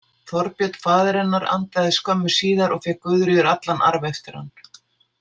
Þorbjörn, faðir hennar, andaðist skömmu síðar og fékk Guðríður allan arf eftir hann.